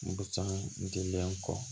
Busan den kɔ